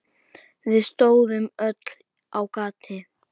Við stóðum öll á gati.